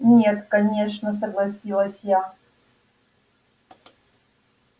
нет конечно согласилась я